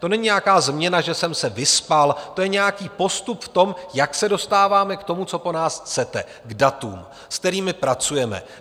To není nějaká změna, že jsem se vyspal, to je nějaký postup v tom, jak se dostáváme k tomu, co po nás chcete, k datům, se kterými pracujeme.